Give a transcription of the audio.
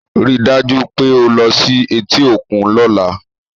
Rí i dájú pé o lo sí i etí òkun lọ́la!